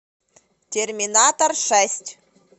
терминатор шесть